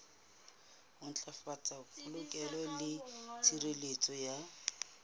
ntlafatsa polokeho le tshireletso ya